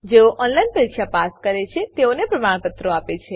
જેઓ ઓનલાઈન પરીક્ષા પાસ કરે છે તેઓને પ્રમાણપત્રો આપે છે